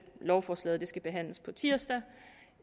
lovforslaget skal behandles på tirsdag